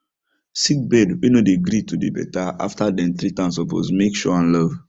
sick bird way no dey gree to dey better after dem treat am suppose make show am love